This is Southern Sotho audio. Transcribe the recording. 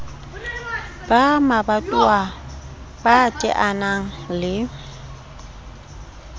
ba mabatowa ba teanang le